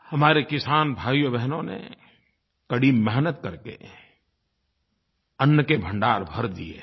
हमारे किसान भाइयोंबहनों ने कड़ी मेहनत करके अन्न के भंडार भर दिए हैं